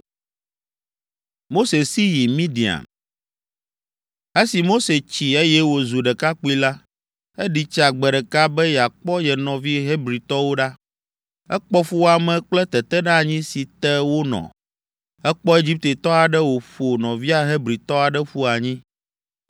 Esi Mose tsi, eye wòzu ɖekakpui la, eɖi tsa gbe ɖeka be yeakpɔ ye nɔvi Hebritɔwo ɖa. Ekpɔ fuwɔame kple teteɖeanyi si te wonɔ. Ekpɔ Egiptetɔ aɖe wòƒo nɔvia Hebritɔ aɖe ƒu anyi.